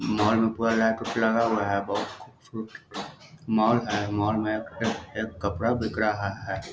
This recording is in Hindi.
मॉल में पूरा लाइट उट लगा हुआ है बहुत मॉल है मॉल में एक-एक कपड़ा बिक रहा हैं।